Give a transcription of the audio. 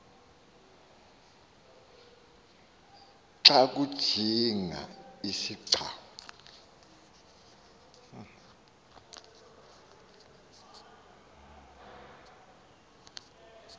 xa kujinga isigcawu